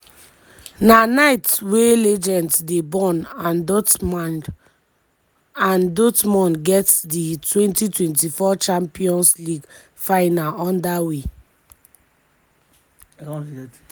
na night wia legends dey born and dortmund and dortmund get di twenty twenty four champions league final under way.